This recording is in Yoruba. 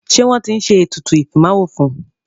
Ṣé wọ́n tí ń ṣe ètùtù ìfimáwo fún.